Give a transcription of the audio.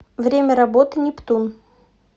время работы нептун